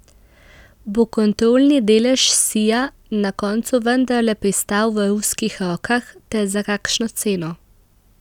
Bo kontrolni delež Sija na koncu vendarle pristal v ruskih rokah ter za kakšno ceno?